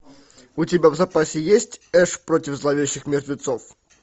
у тебя в запасе есть эш против зловещих мертвецов